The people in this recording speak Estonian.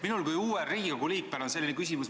Minul kui uuel Riigikogu liikmel on selline küsimus.